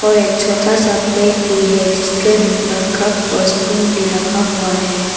और एक छोटा सा प्लेट भी है जिसके ऊपर कप और स्पून भी रखा हुआ है।